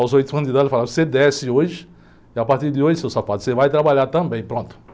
Aos oito anos de idade eles falaram, você desce hoje e a partir de hoje, seu safado, você vai trabalhar também, pronto.